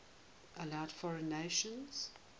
allowed foreign nations